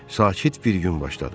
Sakit bir gün başladı.